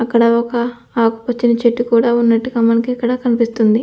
అక్కడ ఒక ఆకు పచ్చని చెట్టు కూడా ఉన్నట్టుగా మనకిక్కడ కనిపిస్తుంది.